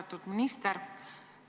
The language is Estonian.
Austatud minister!